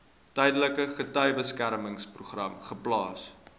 tydelike getuiebeskermingsprogram geplaas